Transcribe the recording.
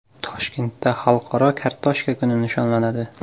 Toshkentda Xalqaro kartoshka kuni nishonlanadi.